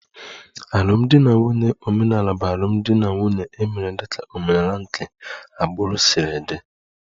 Alụmdi na nwunye omenala bụ alụmdi na nwunye e mere dịka omenala nke agbụrụ si dị